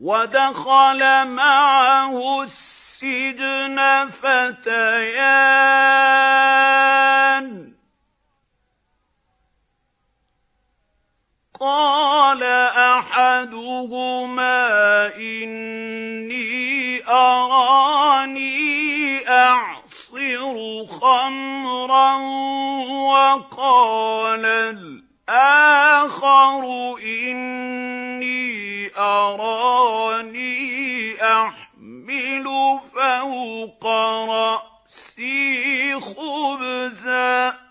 وَدَخَلَ مَعَهُ السِّجْنَ فَتَيَانِ ۖ قَالَ أَحَدُهُمَا إِنِّي أَرَانِي أَعْصِرُ خَمْرًا ۖ وَقَالَ الْآخَرُ إِنِّي أَرَانِي أَحْمِلُ فَوْقَ رَأْسِي خُبْزًا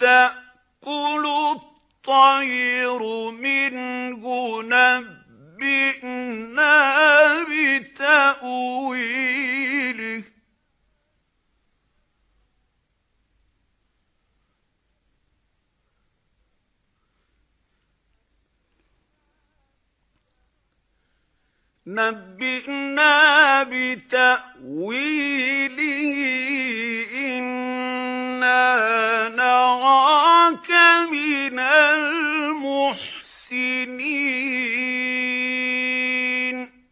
تَأْكُلُ الطَّيْرُ مِنْهُ ۖ نَبِّئْنَا بِتَأْوِيلِهِ ۖ إِنَّا نَرَاكَ مِنَ الْمُحْسِنِينَ